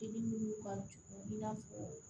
I ni minnu ka dugu i n'a fɔ